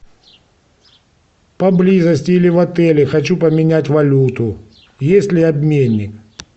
поблизости или в отеле хочу поменять валюту есть ли обменник